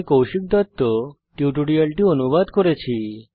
আমি কৌশিক দত্ত এই টিউটোরিয়ালটি অনুবাদ করেছি